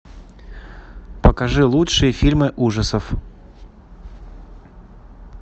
покажи лучшие фильмы ужасов